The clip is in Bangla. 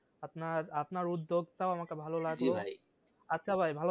আপনার আপনার উদ্যোগ টাও আমাকে ভালো লাগলো আচ্ছা ভাই ভালো থাকবেন